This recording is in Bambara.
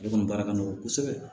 Ale kɔni baara ka nɔgɔ kosɛbɛ